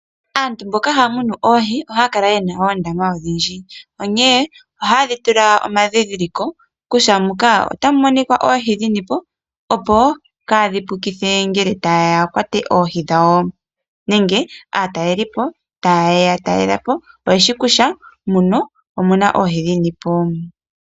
Aantu mboka haya munu oohi ohaya kala yena odhindji onkee ohayedhi tula omadhidhiliko kutya muka otamumonika oohi dhini po opo kayedhipukithe ngele tayeya yakwate oohi dhawo, nenge aataleli po tayeya yeya talele po oyeshi kutya muno omuna oohi dhini po.